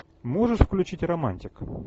можешь включить романтик